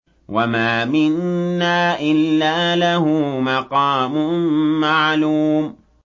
وَمَا مِنَّا إِلَّا لَهُ مَقَامٌ مَّعْلُومٌ